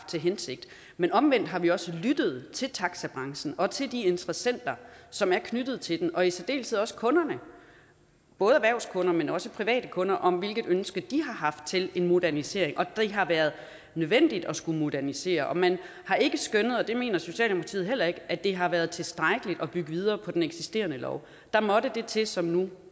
til hensigt men omvendt har vi også lyttet til taxibranchen og til de interessenter som er knyttet til den og i særdeleshed også til kunderne både erhvervskunder men også private kunder om hvilket ønske de har haft til en modernisering og det har været nødvendigt at skulle modernisere og man har ikke skønnet og det mener socialdemokratiet heller ikke at det har været tilstrækkeligt at bygge videre på den eksisterende lov der måtte det til som nu